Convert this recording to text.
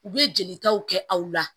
U bɛ jelitaw kɛ aw la